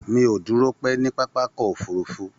Mi ò dúró pẹ́ ní pápákọ̀ òfurufú